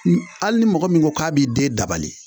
N ali ni mɔgɔ min ko k'a b'i den dabali